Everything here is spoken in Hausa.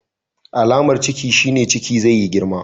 Alamar Ciki shine Ciki zai yi girma.